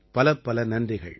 பலப்பல நன்றிகள்